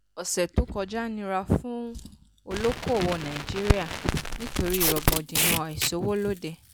ọ̀ṣẹ̀ tó kọjá nira fún olóòkòwò nàìjíríà nítorí rògbòdìyàn àìsówólóde.